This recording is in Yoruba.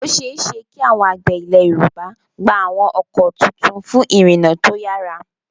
Ó ṣeé ṣe kí àwọn àgbẹ̀ Ilẹ̀ Yorùbá gba àwọn ọkọ̀ tuntun fún ìrìnnà tó yára.